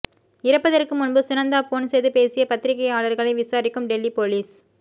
இறப்பதற்கு முன்பு சுனந்தா போன் செய்து பேசிய பத்திரிக்கையாளர்களை விசாரிக்கும் டெல்லி போலீஸ்